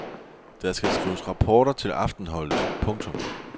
Der skal skrives rapporter til aftenholdet. punktum